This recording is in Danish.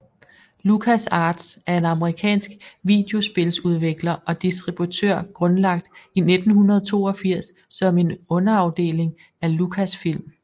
LucasArts er en amerikansk videospiludvikler og distributør grundlagt i 1982 som en underafdeling af Lucasfilm